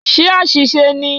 Ṣé àṣìṣe ni?